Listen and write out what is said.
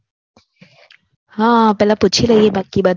હા પેલા પૂછી લઇ એ બાકી બધાને